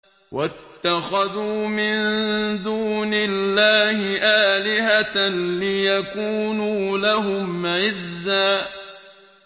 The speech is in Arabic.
وَاتَّخَذُوا مِن دُونِ اللَّهِ آلِهَةً لِّيَكُونُوا لَهُمْ عِزًّا